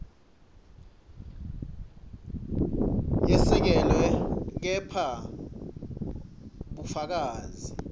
yesekelwe kepha bufakazi